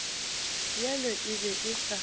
bjalo e be e sa